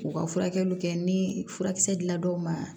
K'u ka furakɛliw kɛ ni furakisɛ dir'o ma